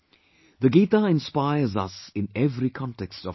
Gita inspires us in every context of our life